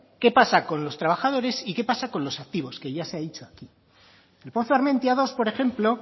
qué pasa con los trabajadores y qué pasa con los activos que ya se ha dicho aquí el pozo armentia dos por ejemplo